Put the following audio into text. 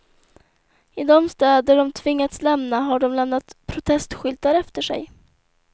I de städer de tvingats lämna har de lämnat protestskyltar efter sig.